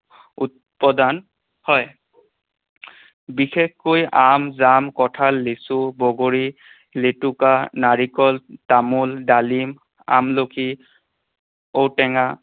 উৎপাদন হয়। বিশেষকৈ আম, জাম, কঁঠাল, লিচু, বগৰী, নাৰিকল, তামোল, ডালিম, আমলখি, ঔটেঙা